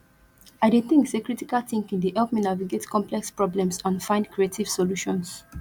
i dey think say critical thinking dey help me navigate complex problems and find creative solutions